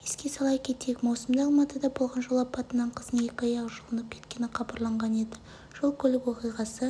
еске сала кетейік маусымда алматыда болған жол апатынан қыздың екі аяғы жұлынып кеткені хабарланған еді жол-көлік оқиғасы